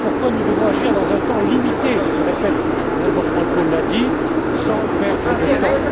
Voilà pourquoi nous devons agir dans un temps limité je le répète Mme Wortmann Kool l'a dit, sans perdre de temps.